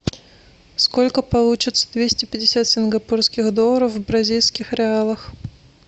сколько получится двести пятьдесят сингапурских долларов в бразильских реалах